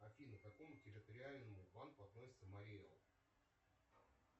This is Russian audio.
афина к какому территориальному банку относится мари эл